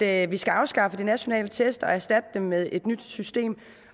at vi skal afskaffe de nationale test og erstatte dem med et nyt system